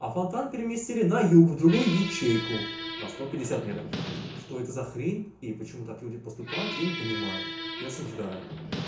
а фонтан переместили на юг в другую ячейку на сто пятьдесят метров что это за хрень и почему так люди поступают я не понимаю и осуждаю